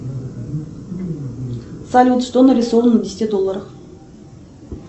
салют что нарисовано на десяти долларах